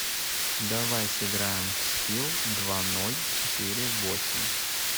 давай сыграем в скил два ноль четыре восемь